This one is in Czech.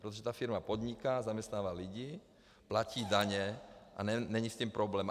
Protože ta firma podniká, zaměstnává lidi, platí daně a není s tím problém.